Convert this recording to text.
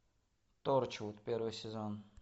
торчвуд первый сезон